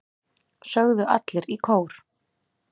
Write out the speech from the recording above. sögðu allir í kór.